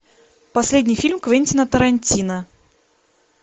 последний фильм квентина тарантино